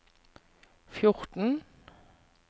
fjorten